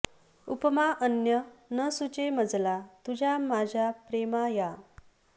उपमा अन्य न सुचे मजला तुझ्या माझ्या प्रेमा या